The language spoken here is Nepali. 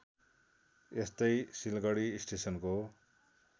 त्यस्तै सिलगढी स्टेशनको